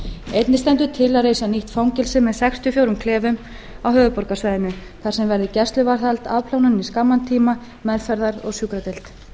einnig stendur til að reisa nýtt fangelsi með sex til fjögurra klefum á höfuðborgarsvæðinu þar sem væri gæsluvarðahald afplánun í skamman tíma meðferðar og sjúkradeild